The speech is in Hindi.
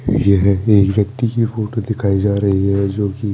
यह एक व्यक्ति की फोटो दिखाई जा रई है जो की--